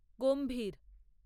গম্ভীর